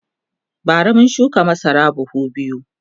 bara mun shuka masara buhu biyu